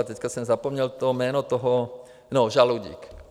A teď jsem zapomněl to jméno toho... no, Žaloudík.